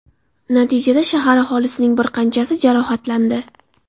Natijada shahar aholisining bir qanchasi jarohatlandi.